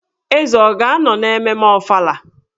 Eze ọ ga-anọ na mmemme Ọfala?